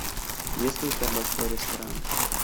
есть ли у тебя большой ресторан